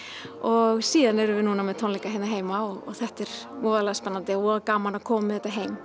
og síðan erum við núna með tónleika hérna heima og þetta er voðalega spennandi og voða gaman að koma með þetta heim